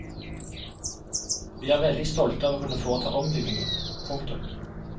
Vi er veldig stolte av å kunne foreta ombyggingen. punktum